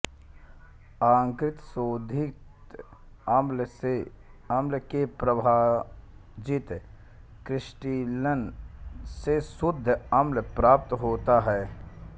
आंशिक शोधित अम्ल के प्रभाजित क्रिस्टलन से शुद्ध अम्ल प्राप्त होता है